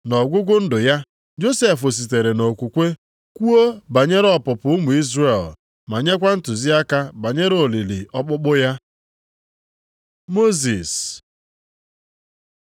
Nʼọgwụgwụ ndụ ya, Josef sitere nʼokwukwe kwuo banyere ọpụpụ ụmụ Izrel ma nyekwa ntụziaka banyere olili ọkpụkpụ ya. Mosis